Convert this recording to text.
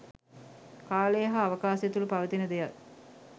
කාලය හා අවකාශය තුළ පවතින දෙයක්